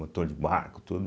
Motor de barco, tudo.